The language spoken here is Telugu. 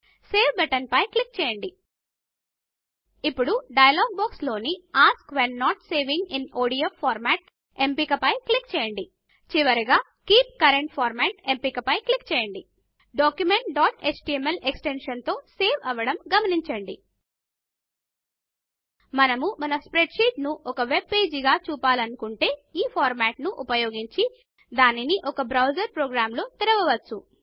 సేవ్ బటన్ పైన క్లిక్ చేయండి ఇప్పుడు డయలాగ్ బాక్స్ లోని ask when not saving in ODF format ఎంపిక పైన క్లిక్ చేయండి చివరగా కీప్ కరెంట్ ఫార్మాట్ ఎంపిక పైన క్లిక్ చేయండి document dot HTML extension తో సేవ్ అవ్వడమును గమనించండి మనము మన స్ప్రెడ్ షీట్ ను ఒక వెబ్ పేజ్ గా చుపించాలనుకుంటే ఈ ఫార్మాట్ను ఉపయోగించి దానిని ఒక వెబ్ బ్రౌజర్ ప్రోగ్రామ్ లో తెరవవచ్చు